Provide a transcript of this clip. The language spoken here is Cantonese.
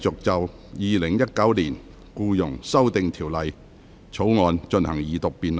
本會現在繼續就《2019年僱傭條例草案》進行二讀辯論。